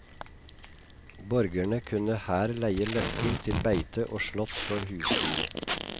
Borgerne kunne her leie løkker til beite og slått for husdyr.